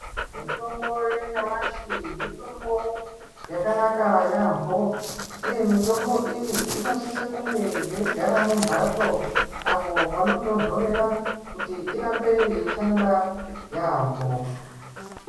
Mitombo yanyamashi mutombo yakanaka yampho uye mitombo iyi inosisa kunge yeigara mumbatso apo panotonhorera kuti irambe yeishanda yampho